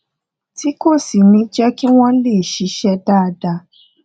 tí kò sì ní jé kí wón lè ṣiṣé dáadáa